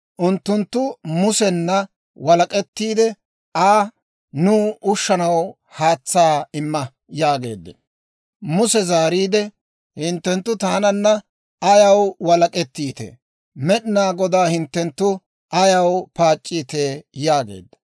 Unttunttu Musena walak'ettiidde Aa, «Nuw ushanaw haatsaa imma» yaageeddino. Muse zaariide, «Hinttenttu taananna ayaw walak'ettiitee? Med'inaa Godaa hinttenttu ayaw paac'c'iitee?» yaageedda.